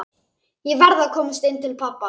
Ég verð að komast inn til pabba.